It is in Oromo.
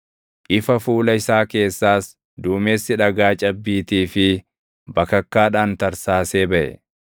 Ifa fuula isaa keessaas duumessi dhagaa cabbiitii fi bakakkaadhaan tarsaasee baʼe.